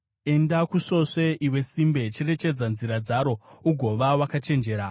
Enda kusvosve, iwe simbe; cherechedza nzira dzaro ugova wakachenjera!